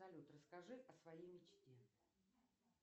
салют расскажи о своей мечте